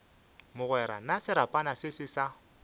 mogwera na serapana se sa